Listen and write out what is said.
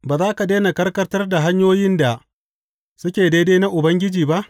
Ba za ka daina karkata hanyoyin da suke daidai na Ubangiji ba?